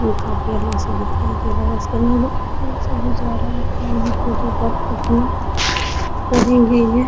ये काफी अलग सा दिखाई दे रहे है उसके अंदर चले जा रहा है --